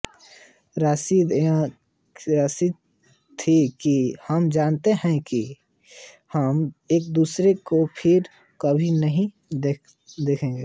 त्रासदी यह थी कि हम जानते थे कि हम एकदूसरे को फिर कभी नहीं देखेंगे